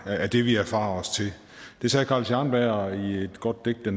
af det vi erfarer os til det sagde carl scharnberg i et godt digt der